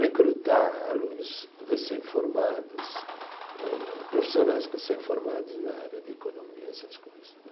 recrutar alunos recém-formados âh, profissionais recém-formados na área de economia, essas coisas né.